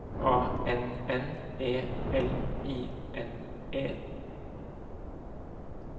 A N N E L I N E